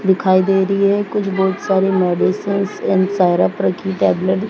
दिखाई दे री है कुछ बहोत सारी मेडिसिनस टैबलेट --